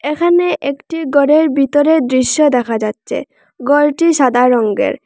এখানে একটি গরের বিতরের দৃশ্য দেখা যাচ্চে গরটি সাদা রঙ্গের।